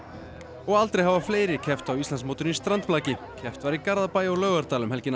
og aldrei hafa fleiri keppt á Íslandsmótinu í strandblaki keppt var í Garðabæ og Laugardal um helgina